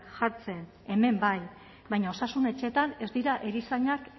jartzen hemen bai baina osasun etxeetan ez dira erizainak